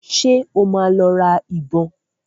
Ṣé ó máa lọ ra ìbọn?